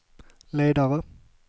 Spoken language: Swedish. ledare